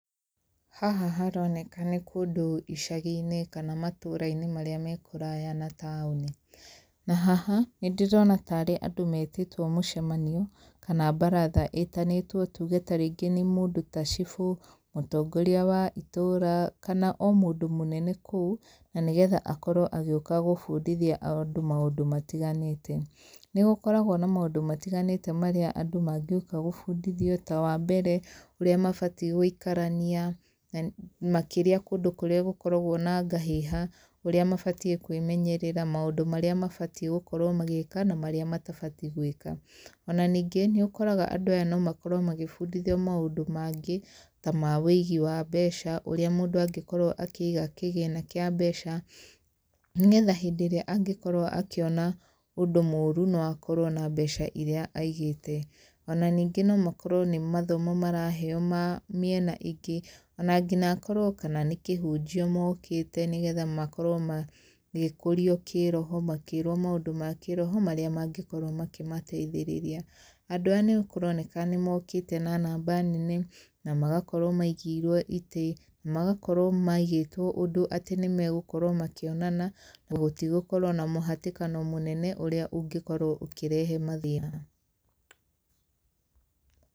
Haha haroneka nĩ kũndũ icagi-inĩ kana matũrainĩ marĩa me kũraya na taũni, na haha, nĩ ndĩrona tarĩ andũ metĩtwo mũcemanio, kana mbaratha ĩtanĩtwo tuge ta rĩngĩ nĩ mũndũ ta cibũ, mũtongoria wa itũũra, kana o mũndũ mũnene kũu, na nĩgetha akorwo agĩũka gũbundithia andũ maũndũ matiganĩte. Nĩ gũkoragwo na mũndũ matiganĩte marĩa andũ mangĩũka gũbundithio ta wambere, ũrĩa mabatie gũikarania makĩria kũndũ kũrĩa gũkoragwo na ngahĩha, ũrĩa mabatie kwĩmenyerera, maũndũ marĩa mabatie gũkorwo magĩka na marĩa matabatie gwĩka. Ona ningĩ, nĩ ũkoraga andũ aya no makorwo magĩbundithio maũndũ mangĩ, ta ma ũigi wa mbeca, ũrĩa mũndũ angĩkorwo akĩiga kĩgĩna kĩa mbeca, nĩgetha hĩndĩ ĩra angĩkorwo akĩona ũndũ mũru, no akorwo na mbeca iria aigĩte. Ona ningĩ no makorwo nĩ mathomo maraheo ma mĩena ĩngĩ, ona ngina akorwo kana nĩ kĩhunjio mokĩte nĩgetha makorwo magĩkũrio kĩroho, makĩrwo maũndũ makĩroho marĩa mangĩkorwo makĩmateithĩrĩria. Andũ aya nĩ kũroneka nĩ mokĩte na namba nene, na magakorwo maigĩirwo itĩ, magakorwo maigĩtwo ũndũ atĩ nĩ magũkorwo makĩonana, na gũtigũkorwo na mũhatĩkano mũnene ũrĩa ũngĩkorwo ũkĩrehe mathĩna.